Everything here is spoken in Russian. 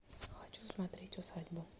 хочу смотреть усадьбу